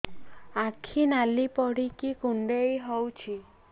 ଆଖି ନାଲି ପଡିକି କୁଣ୍ଡେଇ ହଉଛି